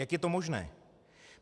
Jak je to možné?